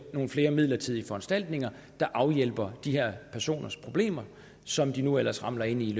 nogle flere midlertidige foranstaltninger der afhjælper de her personers problemer som de nu ellers ramler ind i